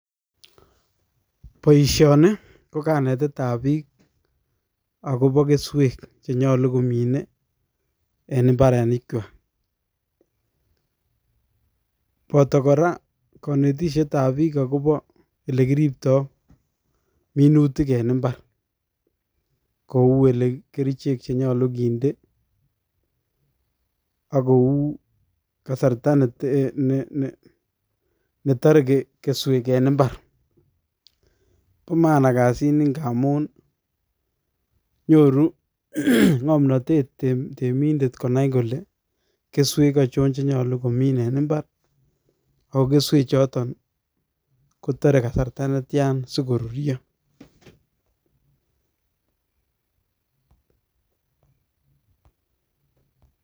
Boisoni, ko kanetetab biik, agobo keswek che nyolu komine en mbarenikwak. Boto kora, kanetishetab biik, agobo ele kiriptoi minutik en imbar. Kou ele kerichek che nyolu kinde, akouu um kasarta ne tare keswek en imbar. Bo maana kasit ni, ng'a amun nyoru ng'omnotet temindet konai kole, keswek ochon che nyolu komin en imbar. Ago keswek chotok kotare kasarta ne tian sikorurio.